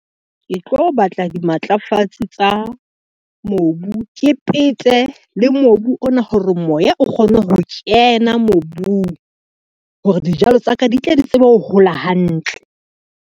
Ke tlo batla dimatlafatsi tsa mobu, ke pete le mobu ona hore moya o kgone ho kena mobung, hore dijalo tsa ka di tle di tsebe ho hola hantle.